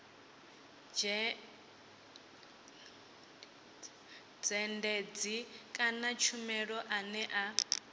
dzhendedzi kana tshumelo ane a